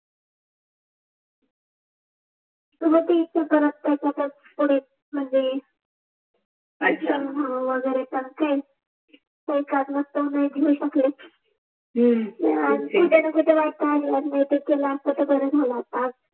मग ते कराय्च त्याच्यातच पुढे मनजे अच्छा हो वगेरे तर तेच एखाद वाजता ह्म्म कुठे न कुठे वाट पाहव लागल असत तर बर झाल असत